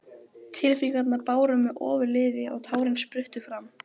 Tilfinningarnar báru mig ofurliði og tárin spruttu fram.